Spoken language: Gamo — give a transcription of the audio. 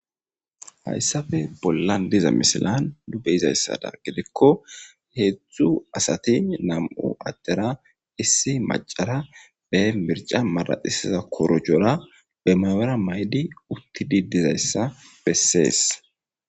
Hayisappe bolani diza misilani nuni beizaysadani giddikko hezdzdu asati namu adera issi maccara mirichcha maraxisiza korojora be mayora mayidi uttidi dizayisa besesi